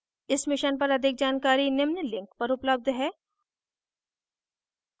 इस mission पर अधिक जानकारी निम्न लिंक पर उपलब्ध है